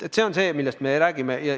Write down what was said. See on see, millest me räägime.